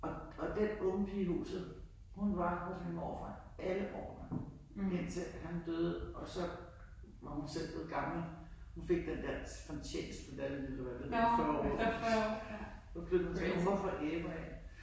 Og og den unge pige i huset hun var hos min morfar alle årene indtil han døde og så var hun selv blevet gammel. Hun fik den der fortjenestemedalje eller hvad det hedder efter 40 år. Hun var fra Ærø af